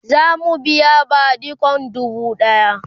zamu biya badikon dubu ɗaya